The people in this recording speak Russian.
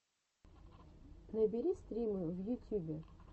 набери стримы в ютюбе